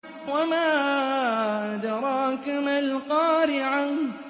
وَمَا أَدْرَاكَ مَا الْقَارِعَةُ